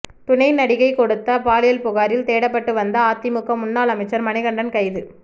துணை நடிகை கொடுத்த பாலியல் புகாரில் தேடப்பட்டு வந்த அதிமுக முன்னாள் அமைச்சர் மணிகண்டன் கைது